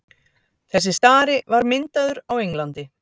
þessi stari var myndaður á englandi